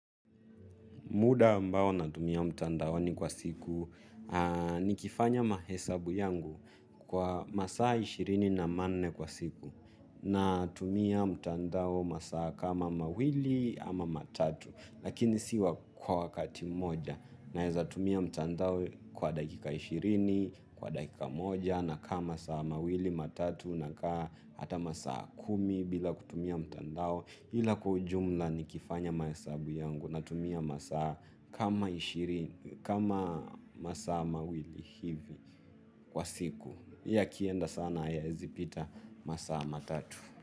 Muda ambao natumia mtandaoni kwa siku nikifanya mahesabu yangu kwa masaa ishirini na manne kwa siku natumia mtandao masaa kama mawili ama matatu lakini si kwa wakati moja naweza tumia mtandao kwa dakika ishirini, kwa dakika moja nakaa masaa mawili, matatu nakaa hata masaa kumi bila kutumia mtandao. Hila kwa ujumla nikifanya mahesabu yangu natumia masaa kama ishirini kama masaa mawili hivi kwa siku ila yakienda sana hayawezi pita masaa matatu.